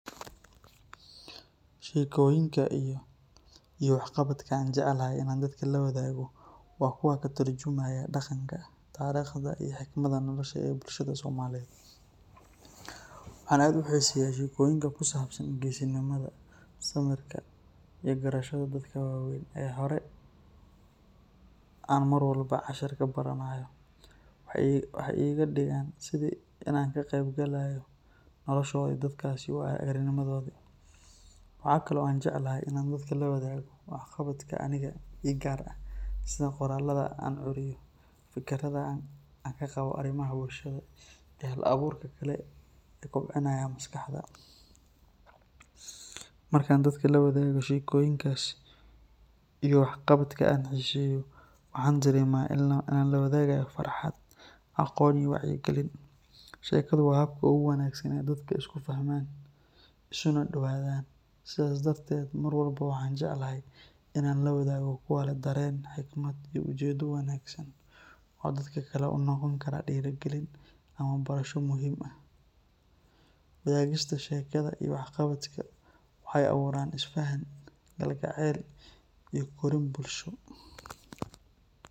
Shekoyinka iyo wax qabadka aan jeclahay inaan dadka la wadaago waa kuwa daqanka, waxaan jeclahay shekoyinka sida geesinimada, waxeey iga digan tahay sida inaan ka qeyn galaayo nolosha dadkaasi, waxaa kale aan jeclahay inaan dadka la wadaago aragtideyda, markaan lawado shekoyinkaas waxaan dareema wacyi galin, mar walbo waxaan jeclahay inaan lawaago farxad, waxaay abuuran Isfahan, galgaceel iyo korin bulsho.